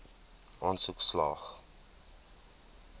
aansoek slaag